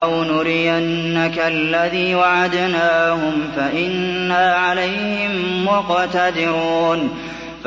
أَوْ نُرِيَنَّكَ الَّذِي وَعَدْنَاهُمْ فَإِنَّا عَلَيْهِم مُّقْتَدِرُونَ